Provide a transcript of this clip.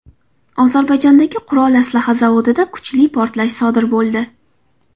Ozarbayjondagi qurol-aslaha zavodida kuchli portlash sodir bo‘ldi.